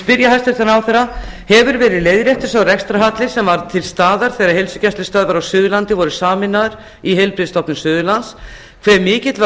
spyr ég hæstvirtan ráðherra hefur verið leiðréttur sá rekstrarhalli sem var til staðar þegar heilsugæslustöðvar á suðurlandi voru sameinaðar í heilbrigðisstofnun suðurlands hve mikill var